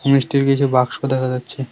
মিষ্টির কিছু বাক্স দেখা যাচ্ছে।